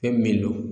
Fɛn min do